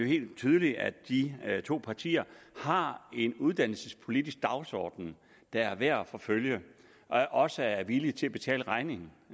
helt tydeligt at de to partier har en uddannelsespolitisk dagsorden der er værd at forfølge og også er villige til at betale regningen